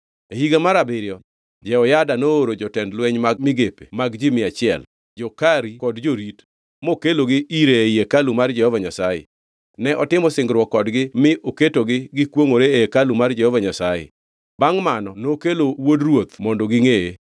E higa mar abiriyo Jehoyada nooro jotend lweny mag migepe mag ji mia achiel, jo-Kari kod jorit, mokelgi ire ei hekalu mar Jehova Nyasaye. Ne otimo singruok kodgi mi oketogi gikwongʼore e hekalu mar Jehova Nyasaye. Bangʼ mano nokelo wuod ruoth mondo gingʼeye.